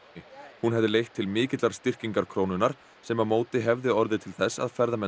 hún hefði leitt til mikillar styrkingar krónunnar sem á móti hefði orðið til þess að ferðamenn